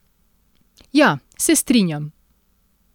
Ja, se strinjam.